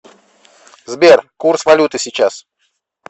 сбер курс валюты сейчас